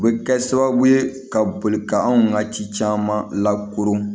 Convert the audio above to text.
U bɛ kɛ sababu ye ka boli ka anw ka ci caman lakoro